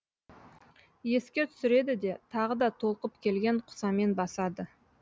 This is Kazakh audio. еске түсіреді де тағы да толқып келген құсамен басады